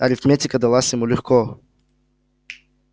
арифметика далась ему легко